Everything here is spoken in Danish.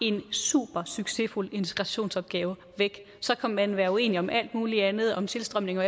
en supersuccesfuld integrationsopgave væk så kan man være uenige om alt muligt andet om tilstrømning og